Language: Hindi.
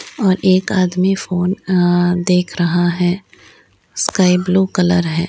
और एक आदमी फोन अ देख रहा है स्काई ब्लू कलर है।